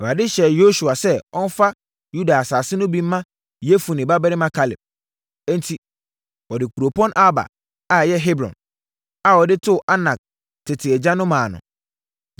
Awurade hyɛɛ Yosua sɛ ɔmfa Yuda asase no bi mma Yefune babarima Kaleb. Enti, wɔde kuropɔn Arba (a ɛyɛ Hebron) a wɔde too Anak tete agya no maa no.